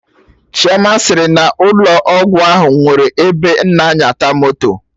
Chioma sịrị n'ụlọ ọgwụ ahụ nwere ebe ana nyata moto